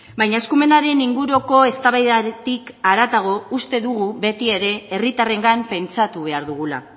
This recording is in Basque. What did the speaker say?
baina eskumenaren inguruko eztabaidatik haratago uste dugu beti ere herritarrengan pentsatu behar dugula